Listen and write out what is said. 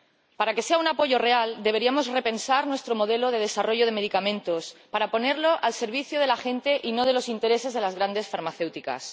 Para que sea un apoyo real, deberíamos repensar nuestro modelo de desarrollo de medicamentos para ponerlo al servicio de la gente y no de los intereses de las grandes farmacéuticas.